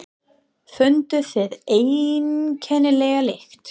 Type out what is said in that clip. Funduð þið einkennilega lykt?